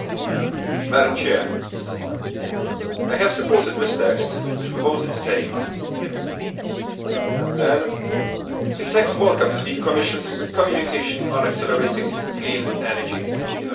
Madam President, I supported this text which we voted on today. The text welcomes the Commission's communication on accelerating clean energy innovation.